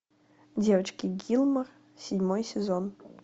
девочки гилмор седьмой сезон